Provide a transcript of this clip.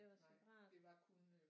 Det var separat